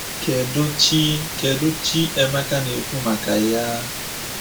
Kedụ Chi Kedụ Chi Emeka na-ekwu maka yaa?